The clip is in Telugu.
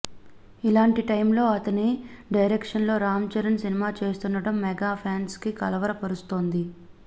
ఇలాంటి టైమ్లో అతని డైరెక్షన్లో రామ్ చరణ్ సినిమా చేస్తుండడం మెగా ఫాన్స్ని కలవరపరుస్తోంది